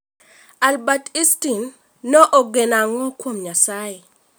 Albert Einstern ne ogeno ang'o kuom nyasaye?